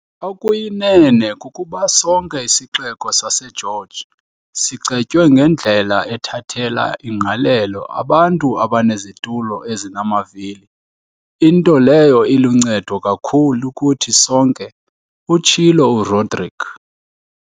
"Okuyinene kukuba sonke isixeko saseGeorge sicetywe ngendlela ethathela ingqalelo abantu abanezitulo ezinamavili, into leyo iluncedo kakhulu kuthi sonke," utshilo uRodrique.